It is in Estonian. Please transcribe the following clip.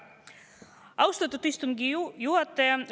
Austatud istungi juhataja!